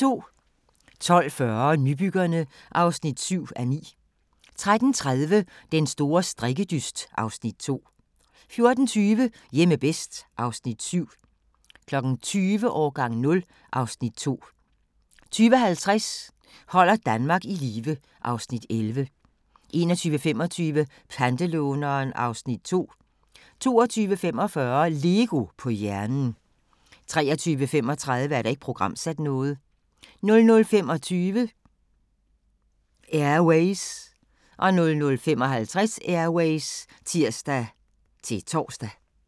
12:40: Nybyggerne (7:9) 13:30: Den store strikkedyst (Afs. 2) 14:20: Hjemme bedst (Afs. 7) 20:00: Årgang 0 (Afs. 2) 20:50: Holder Danmark i live (Afs. 11) 21:25: Pantelåneren (Afs. 2) 22:45: LEGO på hjernen 23:35: Ikke programsat 00:25: Air Ways 00:55: Air Ways (tir-tor)